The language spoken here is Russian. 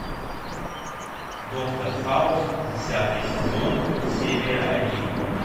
доктор хаус десятый сезон серия один